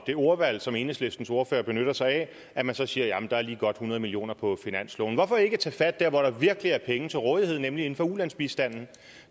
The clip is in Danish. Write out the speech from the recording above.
det ordvalg som enhedslistens ordfører benytter sig af at man så siger at der er lige godt hundrede million kroner på finansloven hvorfor ikke tage fat der hvor der virkelig er penge til rådighed nemlig inden for ulandsbistanden